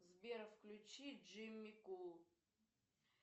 сбер включи джимми кул